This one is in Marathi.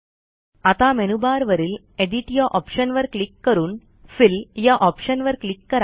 आता मेनूबार वरील एडिट या ऑप्शनवर क्लिक करून फिल या ऑप्शनवर क्लिक करा